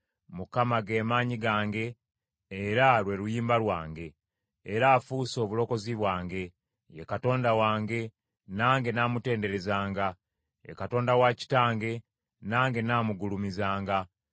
Mukama ge maanyi gange era lwe luyimba lwange, era afuuse obulokozi bwange. Ye Katonda wange, nange nnaamutenderezanga, ye Katonda wa kitange, nange nnaamugulumizanga.